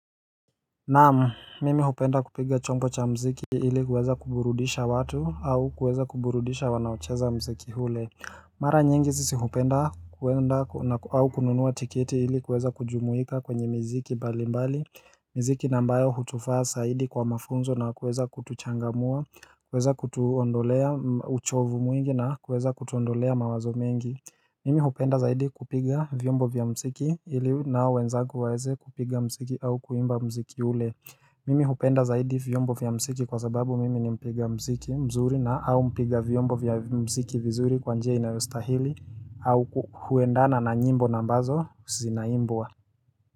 Naam, mimi hupenda kupiga chombo cha muziki ili kuweza kuburudisha watu au kuweza kuburudisha wanaocheza muziki ule. Mara nyingi sisi hupenda kuenda au kununua tiketi ili kuweza kujumuika kwenye miziki mbalimbali. Miziki nambayo hutufaa zaidi kwa mafunzo na kuweza kutuchangamua, kuweza kutuondolea uchovu mwingi na kuweza kutuondolea mawazo mengi. Mimi hupenda zaidi kupiga vyombo vya mziki ili nao wenzangu waeze kupiga muziki au kuimba muziki ule. Mimi hupenda zaidi vyombo vya muziki kwa sababu mimi ni mpiga mziki mzuri na au mpiga vyombo vya muziki vizuri kwa njia inayostahili au huendana na nyimbo nambazo zinaimbwa.